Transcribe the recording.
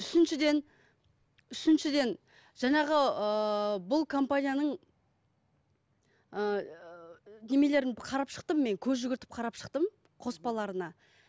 үшіншіден үшіншіден жаңағы ыыы бұл компанияның ыыы немелерін қарап шықтым мен көз жүгіртіп қарап шықтым қоспаларына